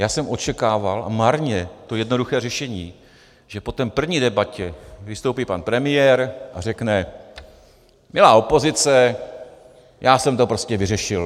Já jsem očekával, a marně, to jednoduché řešení, že po té první debatě vystoupí pan premiér a řekne: Milá opozice, já jsem to prostě vyřešil.